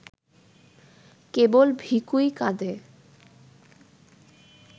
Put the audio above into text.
কেবল ভিখুই কাঁধে